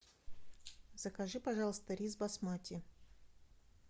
закажи пожалуйста рис басмати